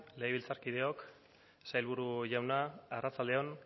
legebiltzarkideok sailburu jauna arratsalde on